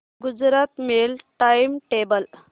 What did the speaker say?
Gujarat mail time table